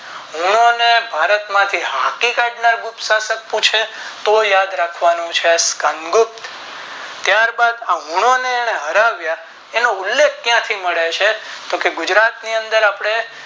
હુંનો ને ભારત માંથી હકીકત માં ગુપ્ત સાશક પૂછે તો યાદ રાખવાનું છે છીણ ગુપ્ત ત્યાર બાદ હુંને તેને હરાવ્યા એનો ઉલ્લેખ ક્યાંથી મળે છે તો કે ગુજરાત ની અંદર આપણે